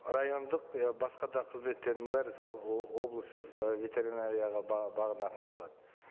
райондық я басқа да қызметтердің бәрі сол облыстық ы ветеринарияға бағынатын болады